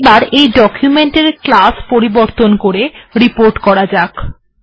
এখন এই ডকুমেন্ট এর ক্লাস টি রিপোর্ট এ পরিবর্তন করা যাক